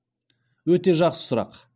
өте жақсы сұрақ